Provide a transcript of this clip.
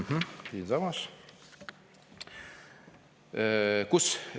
Mh-mh, siinsamas!